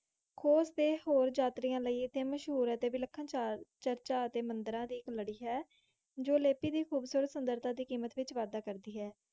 coach ਡੇ ਹੋਰ ਯਾਤਰੀਆਂ ਲਾਇ ਅਤੇ ਵਲੀਖਾਂ ਚਾਰਜ ਅਤੇ ਮੰਦਰਾਂ ਲਾਇ ਇਕ ਲਾੜੀ ਹੈ ਜੋ ਕਿ ਲਾਤੀ ਦੇ ਸੁੰਦਰਤਾ ਵਿਚ ਵਾਡਾ ਕਰਦੀ ਹੈ